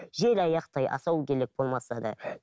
желаяқтай асау болмаса да